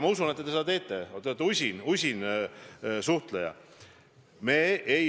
Ma usun, et te seda olete teinud, te olete usin suhtleja.